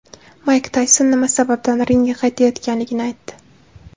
Mayk Tayson nima sababdan ringga qaytayotganligini aytdi.